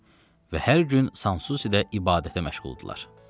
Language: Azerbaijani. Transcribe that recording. Və hər gün Sansusidə ibadətə məşğuldurlar.